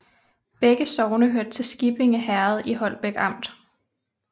Begge sogne hørte til Skippinge Herred i Holbæk Amt